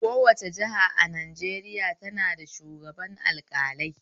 Kowace jiha a Najeriya tana da shugaban alƙalai